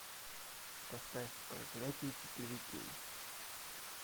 поставь проклятие четыре кей